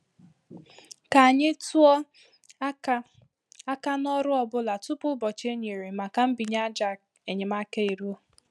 Ka anyị tụọ aka aka na ọrụ ọ bụla tupu ụbọchị e nyere maka mbinye àjà enyemaka e ruo.